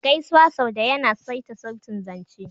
Gaisuwa sau da yana saita sautin zance.